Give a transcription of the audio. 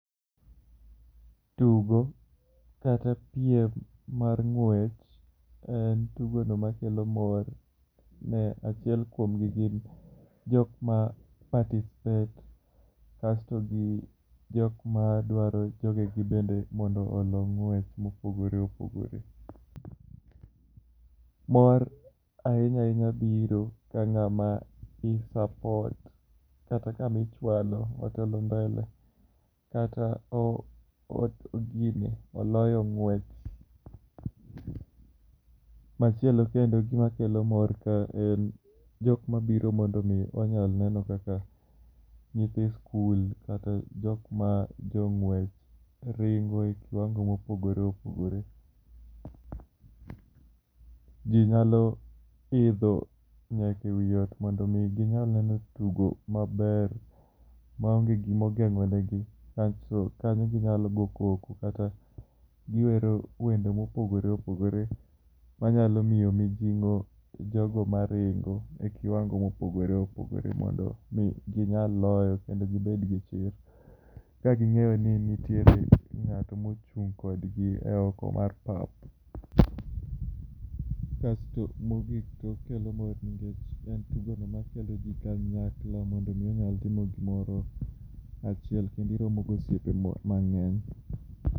Tugo kata piem mar ng'wech en tugono makelo mor ne achiel kuomgi gin jok ma participate. Kasto gi jok madwaro ni jogegi bende mondo olo ng'wech mopogore opogore. Mor ahinya biro ka ng'at ma i support otelo mbele kata gine, oloyo ng'wech. Machielo kendo makelo mor kae en jok mabiro mondo onyal neno kaka nyithi sikul kata jok ma jong'wech ringo e kiwango mopogore opogore. Ji nyalo idho nyaka ewi ot mondo ginyal neno tugo maber maonge gima ogeng'o negi. Kasto kanyo ginyalo goyo koko kata giwero wende mopogore opogore manyalo miyo mijing'o jogo maringo e kiwango m,opogore opogore mondo mi ginyal loyo kendo gibed gi chir ka ging'eyo ni nitiere ng'ato mochung' kodgi e oko mar pap. Kasto mogik okelo mor nikech en tugono makelo ji kanyakla mondo mi onyal timo gimoro achiel kendo iromo gi osiepe mang'eny.